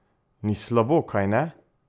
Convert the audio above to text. Ni slabo, kajne?